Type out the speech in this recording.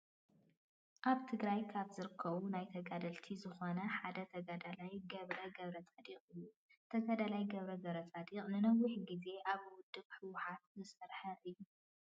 አብ ትግራይ ካብ ዝርከቡ ናይ ተጋደልቲ ዝኮኑ ሓደ ተጋዳላይ ገብረ ገብረፃዲቅ እዩ። ተጋዳላይ ገብረ ገብረፃዲቅ ንነወሕ ግዜ አብ ውድብ ሕውሓት ዝሰርሐ እዩ።